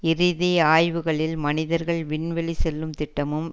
இதிதி ஆய்வுகளில் மனிதர்கள் விண்வெளி செல்லும் திட்டமும்